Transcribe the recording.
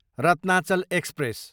Ratnachal express